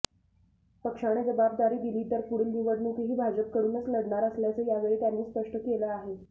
पक्षाने जबाबदारी दिली तर पुढील निवडणूकही भाजपकडूनच लढणार असल्याचं यावेळी त्यांनी स्पष्ट केलं आहे